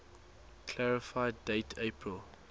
clarify date april